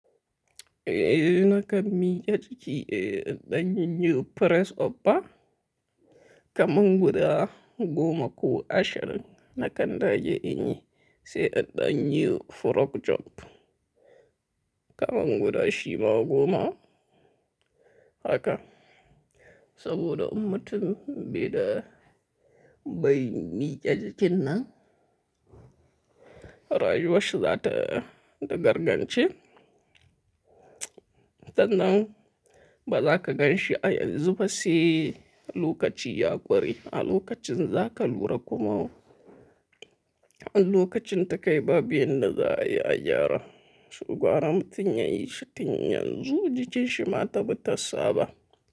Eh, nakan miƙe jiki eh, inɗan yin yi Press up ba kaman guda goma ko ashirin, na kanda ge in yi sai in. Ɗan yi Frog jump kaman guda shima goma haka. Saboda in mutin bai da bai miƙe jikin nan, rayuwar shi za ta da gargance. Sannan ba za ka gan shi a yanzu ba sai lokaci ya ƙure. A lokacin za ka lura kuma a lokacin ta kai ba bu yanda za a yi a gyara. Saboda har mutum ya yi shi tun yanzu, jikin shi ma tabi ta saba.